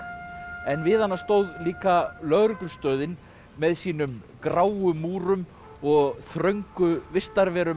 en við hana stóð líka lögreglustöðin með sínum gráu múrum og þröngu vistarverum